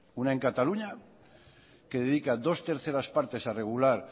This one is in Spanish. una en cataluña que dedica dos terceras partes a regular